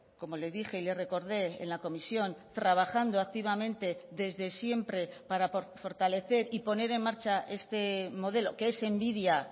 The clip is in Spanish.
como le dije y le recordé en la comisión trabajando activamente desde siempre para fortalecer y poner en marcha este modelo que es envidia